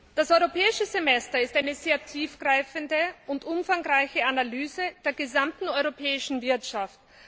Das Europäische Semester ist eine sehr tiefgreifende und umfangreiche Analyse der gesamten europäischen Wirtschaft.